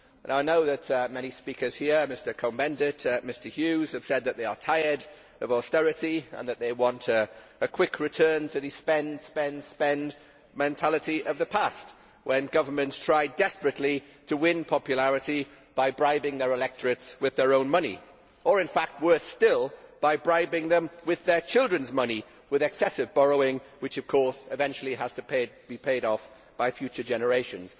I know that many speakers here, such as Mr Cohn Bendit and Mr Hughes, have said that they are tired of austerity and that they want a quick return to the spend, spend, spend mentality of the past, when governments tried desperately to win popularity by bribing their electorates with their own money or in fact, worse still, by bribing them with their children's money with excessive borrowing which, of course, eventually has to be paid off by future generations.